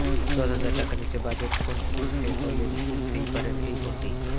দশ হাজার টাকার নীচের বাজেট ফোন কিনতে হলে কিনতেই পারেন এই ফোনটি